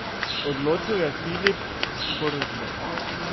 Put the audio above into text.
Odločil je Filip Forsberg.